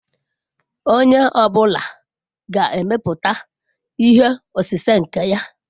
Onye ọ bụla ga-emepụta ihe osise nke ya?